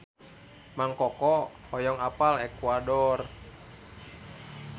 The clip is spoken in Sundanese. Mang Koko hoyong apal Ekuador